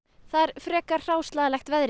frekar hráslagalegt veður